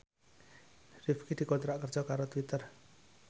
Rifqi dikontrak kerja karo Twitter